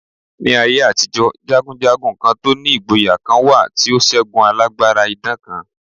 Ní aye àtijọ́, jagunjagun to ni ìgboyà kan wà tí ó ṣẹ́gun alágbára idán kan.